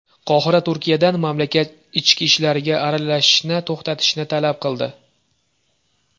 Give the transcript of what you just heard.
Qohira Turkiyadan mamlakat ichki ishlariga aralashishni to‘xtatishni talab qildi.